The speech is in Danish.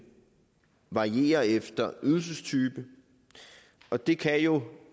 varierer efter ydelsestype og det kan jo